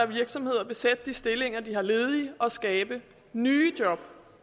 virksomhederne besætte de stillinger de har ledige og skabe nye job